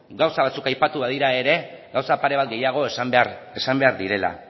gauza batzuk aipatu badira ere gauza pare bat gehiago esan behar direla